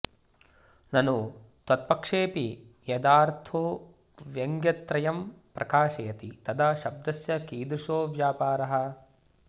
ननु त्वत्पक्षेऽपि यदार्थो व्यङ्ग्यत्रयं प्रकाशयति तदा शब्दस्य कीदृशो व्यापारः